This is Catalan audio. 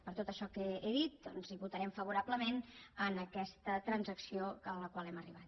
per tot això que he dit doncs votarem favorablement en aquesta transacció a la qual hem arribat